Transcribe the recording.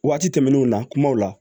Waati tɛmɛnnenw na kumaw la